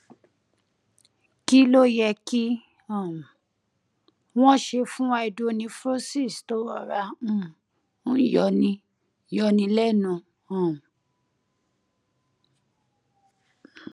kí ló yẹ kí um wọn ṣe fún hydronephrosis tó rọra um ń yọni yọni lẹnu um